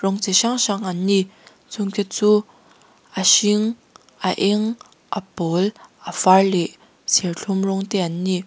rawng chi hrang hrang an ni chung te chu a hring a eng a pawl a var leh serthlum rawng te an ni.